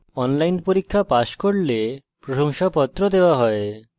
online পরীক্ষা pass করলে প্রশংসাপত্র দেওয়া হয়